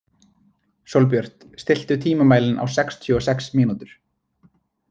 Sólbjört, stilltu tímamælinn á sextíu og sex mínútur.